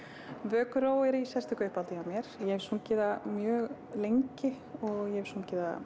vökuró er í sérstöku uppáhaldi hjá mér ég hef sungið það mjög lengi og ég hef sungið það